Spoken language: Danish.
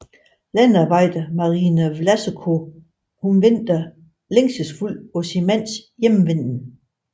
Landboarbejder Marina Vlasenko venter længselsfuldt på sin mands hjemvenden